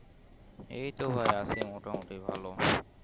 এইতো ভাই আছি মোটামুটি ভালো